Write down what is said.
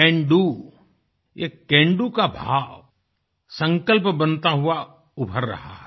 can do ये can do का भाव संकल्प बनता हुआ उभर रहा है